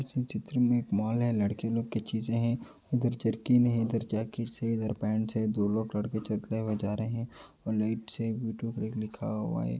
इस चित्र में एक मॉल है लड़के लोगों की चीजे़ हैं उधर जरकिने हैं इधर जकेट्स है इधर पेंट्स हैं दो लोग लड़के चलते हुए जा रहे हैं और लाइट्स से यूटूब एक लिखा हुआ है।